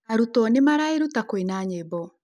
Arũto nĩmaraĩruta kũina nyĩmbo